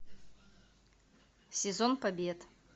сезон побед